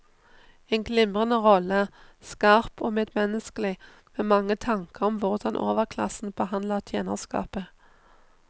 En glimrende rolle, skarp og medmenneskelig med mange tanker om hvordan overklassen behandler tjenerskapet.